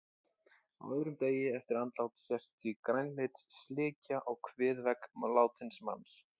Á öðrum degi eftir andlát sést því grænleit slikja á kviðvegg látins manns.